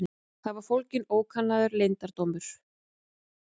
Þar var fólginn ókannaður leyndardómur.